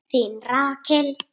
Þín Rakel.